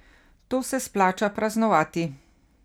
To se splača praznovati.